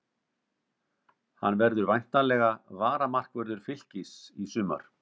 Hann verður væntanlega varamarkvörður Fylkis í sumar.